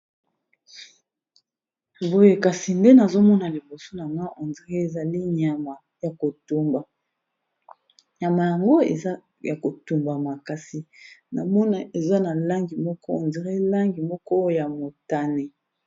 Boye kasi nde nazomona liboso na nga ondire ezali nyama ya kotumba nyama yango eza ya kotumba makasi na mona eza na langi moko ondire langi moko ya motane.